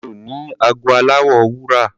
Mi ò ní ago aláwọ̀ wúrà.